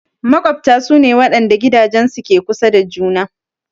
Maƙwabta su ne waɗanda gidajensu ke kusa da juna.